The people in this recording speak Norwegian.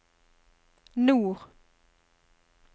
nord